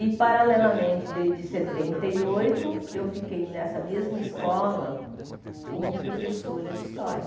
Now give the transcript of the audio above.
E, paralelamente, desde setenta e oito, eu fiquei nessa mesma escola como professora de História.